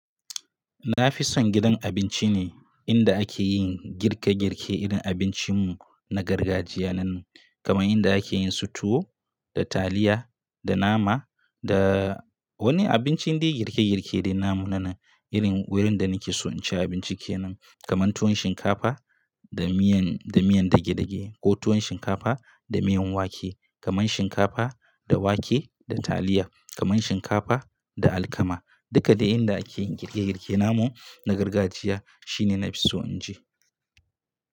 Na fi son gidan abinci ne inda ake yin girke-girke irin abincin mu na gargajiya nan. Kamar inda ake yin su tuwo da taliya da nama da wani abincin dai girke-girke namu na nan irin wurin da nake so in ci abinci kenan. Kamar tuwon shinkafa da miyan, da miyan dagedage ko tuwon shinkafa da miyan wake, kamar shinkafa da wake da taliya, kamar shinkafa da alkama. Duka dai inda ake yin girke-girke namu na gargajiya shine na fi so in je.